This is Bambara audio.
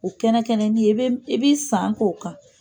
O kɛnɛ kɛnɛ nin ye, i bɛ san k'o kan!